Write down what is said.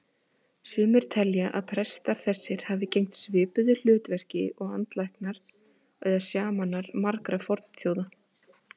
Sumir telja að prestar þessir hafi gegnt svipuðu hlutverki og andalæknar eða sjamanar margra fornþjóða.